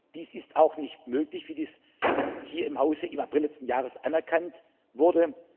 Dies ist auch nicht möglich, wie dies hier im Hause im April letzten Jahres anerkannt wurde.